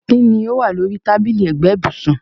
Kín ni ó wà ní orí tábìlì ẹ̀gbẹ́ ibùsùn?